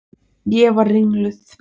Ég var ringluð.